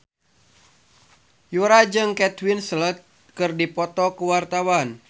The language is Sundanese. Yura jeung Kate Winslet keur dipoto ku wartawan